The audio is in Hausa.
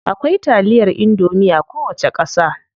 Akwai taliyar indomie a kowace ƙasa.